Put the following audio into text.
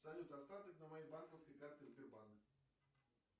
салют остаток на моей банковской карте сбербанк